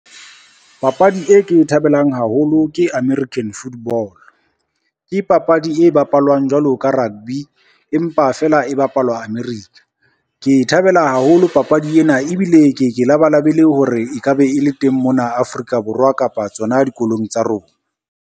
Papadi e ke e thabelang haholo ke American football. Ke papadi e bapalwang jwalo ka rugby, empa feela e bapalwa America. Ke e thabela haholo papadi ena ebile ke ke labalabela hore e ka be e le teng mona Afrika Borwa kapa tsona dikolong tsa rona.